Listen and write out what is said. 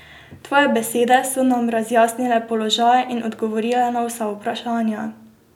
Tvoje besede so nam razjasnile položaj in odgovorile na vsa vprašanja.